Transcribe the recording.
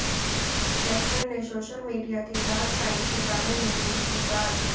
actor ने social media के dark side के बारे में भी की बात